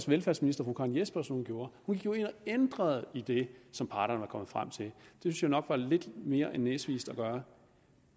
velfærdsminister fru karen jespersen gjorde hun gik jo ind og ændrede i det som parterne var kommet frem til det synes jeg nok var lidt mere end næsvist at gøre